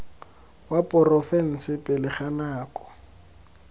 wa porofense pele ga nako